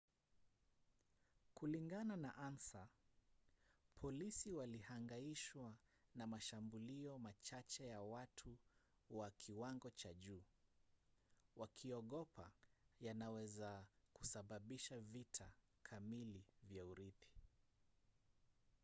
kulingana na ansa polisi walihangaishwa na mashambulio machache ya watu wa kiwango cha juu wakiogopa yanaweza kusababisha vita kamili vya urithi